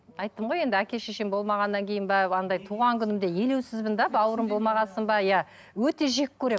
айттым ғой енді әке шешем болмағаннан кейін бе андай туған күнімде елеусізмін де бауырым болмаған соң ба иә өте жек көремін